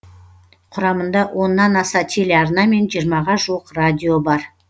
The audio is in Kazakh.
құрамында оннан аса телеарна мен жиырмаға жуық радио бар